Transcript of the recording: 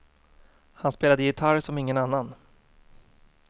Han spelade gitarr som ingen annan.